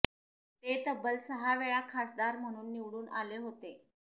ते तब्बल सहा वेळा खासदार म्हणून निवडून आले होते